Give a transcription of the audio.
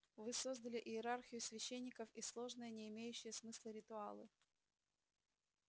вы создали иерархию священников и сложные не имеющие смысла ритуалы